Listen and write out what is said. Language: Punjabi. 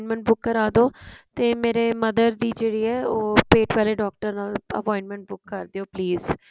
appointment book ਕਰਾਦੋ ਤੇ ਮੇਰੇ mother ਦੀ ਜਿਹੜੀ ਏ ਉਹ ਪੇਟ ਵਾਲੇ ਡਾਕਟਰ ਨਾਲ appointment ਬੁੱਕ ਕਰ ਦਿਓ please